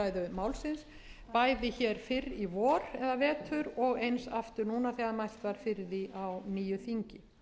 málsins bæði fyrr í vetur og eins aftur núna þegar mælt var fyrir því á nýju þingi